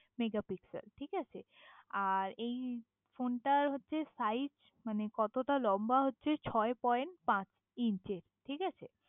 mega pixel ঠিক আছে আর এই ফোনটার হচ্ছে সাইজ মানে কতটা লম্বা হচ্ছে ছয় পয়েন্ট পাঁচ ইঞ্চির ঠিক আছে